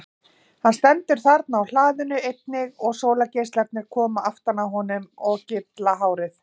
Hann stendur þarna á hlaðinu einnig og sólargeislarnir koma aftan að honum og gylla hárið.